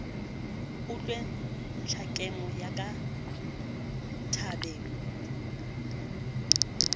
utlwe ntlhakemo ya ka tabeng